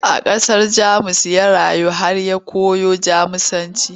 A ƙasar Jamus ya rayu har ya koyo Jamusanci.